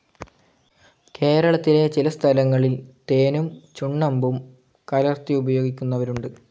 കേരളത്തിലെ ചില സ്ഥലങ്ങളിൽ തേനും ചുണ്ണമ്പും കലർത്തി ഉപയോഗിക്കുന്നവരുണ്ട്.